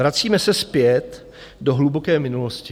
Vracíme se zpět do hluboké minulosti.